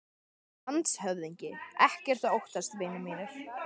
LANDSHÖFÐINGI: Ekkert að óttast, vinir mínir.